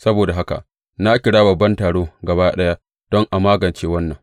Saboda haka na kira babban taro gaba ɗaya don a magance wannan.